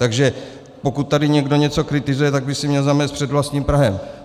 Takže pokud tady někdo něco kritizuje, tak by si měl zamést před vlastním prahem.